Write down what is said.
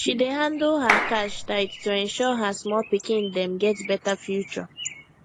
she dey handle her cash tight to ensure her small pikin dem get better future